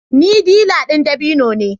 Ni dilla ɗin dabino ne